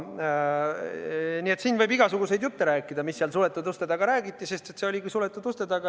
Nii et siin võib rääkida igasuguseid jutte, mis seal suletud uste taga räägiti, sest see oligi suletud uste taga.